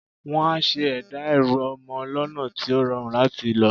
Wọ́n á ṣe ẹ̀dá ẹrù ọmọ lọ́nà tí ó rọrùn láti lò.